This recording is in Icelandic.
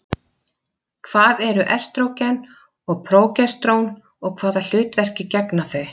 Hvað eru estrógen og prógesterón og hvaða hlutverki gegna þau?